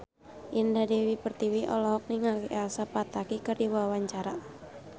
Indah Dewi Pertiwi olohok ningali Elsa Pataky keur diwawancara